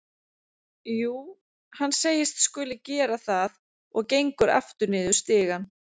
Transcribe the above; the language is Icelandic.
Jú, hann segist skuli gera það og gengur aftur niður stigann.